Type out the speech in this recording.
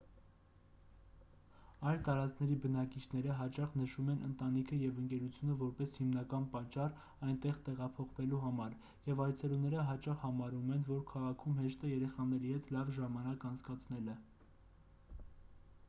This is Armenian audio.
այլ տարածքների բնակիչները հաճախ նշում են ընտանիքը և ընկերությունը որպես հիմնական պատճառ այնտեղ տեղափոխվելու համար և այցելուները հաճախ համարում են որ քաղաքում հեշտ է երեխաների հետ լավ ժամանակ անցկացնել